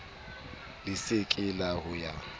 le se ke la ya